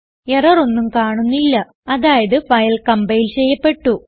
error ഒന്നും കാണുന്നില്ല അതായത് ഫയൽ കംപൈൽ ചെയ്യപ്പെട്ടു